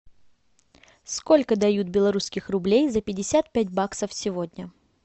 сколько дают белорусских рублей за пятьдесят пять баксов сегодня